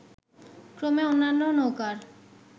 ক্রমে অন্যান্য নৌকার